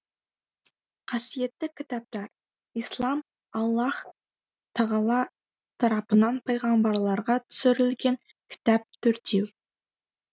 қасиетті кітаптар ислам аллаһ тағала тарапынан пайғамбарларға түсірілген кітап төртеу